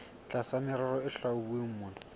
tlasa merero e hlwauweng mona